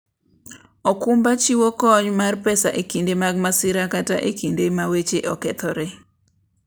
okumba chiwo kony mar pesa e kinde mag masira kata e kinde ma weche okethore.